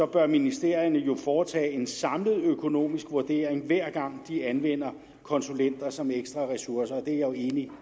bør ministerierne jo foretage en samlet økonomisk vurdering hver gang de anvender konsulenter som ekstra ressourcer det er jeg jo enig